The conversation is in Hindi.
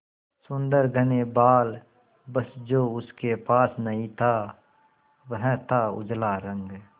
सुंदर घने बाल बस जो उसके पास नहीं था वह था उजला रंग